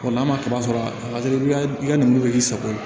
n'a ma kaba sɔrɔ a ka di i ka i ka nin k'i sago ye